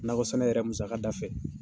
Nakɔ sɛnɛ yɛrɛ musaka da fɛ